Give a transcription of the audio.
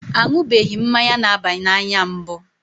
A ṅụbeghị mmanya na-aba n'anya mbụ.